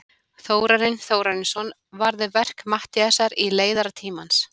Þórarinn Þórarinsson varði verk Matthíasar í leiðara Tímans.